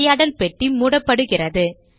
உரையாடல் பெட்டி மூடப்படுகிறது